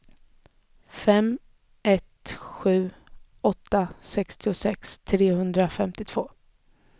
fem ett sju åtta sextiosex trehundrafemtiotvå